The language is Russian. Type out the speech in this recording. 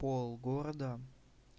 пол города